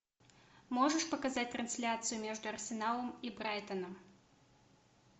можешь показать трансляцию между арсеналом и брайтоном